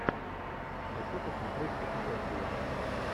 хочу посмотреть путешествия